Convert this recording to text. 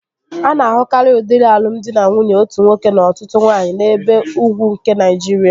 A na-ahụkarịa udiri alụmdi na nwunye otu nwoke na ọtụtụ nwaanyị n'ebe ugwu nke Naịjiria